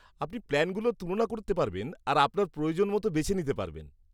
আপনি প্ল্যানগুলো তুলনা করতে পারবেন আর আপনার প্রয়োজন মতো বেছে নিতে পারবেন।